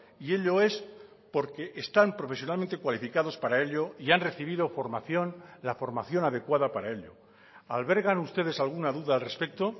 y ello es porque están profesionalmente cualificados para ello y han recibido formación la formación adecuada para ello albergan ustedes alguna duda al respecto